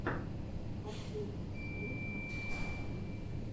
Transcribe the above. последняя серия кавказ битс